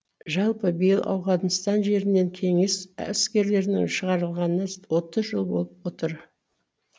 жалпы биыл ауғанстан жерінен кеңес әскерлерінің шығарылғанына отыз жыл болып отыр